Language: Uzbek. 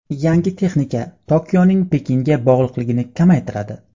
Yangi texnika Tokioning Pekinga bog‘liqligini kamaytiradi.